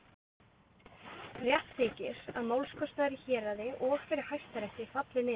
Rétt þykir, að málskostnaður í héraði og fyrir Hæstarétti falli niður.